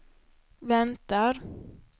väntar